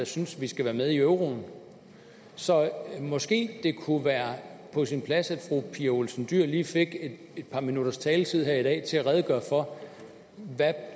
synes at vi skal være med i euroen så måske det kunne være på sin plads at fru pia olsen dyhr lige fik et par minutters taletid her i dag til at redegøre for hvad det